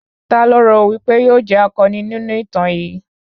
Ta lo rò wípé yóò jẹ́ akọni nínú ìtàn yìí?